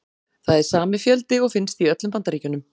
Það er sami fjöldi og finnst í öllum Bandaríkjunum.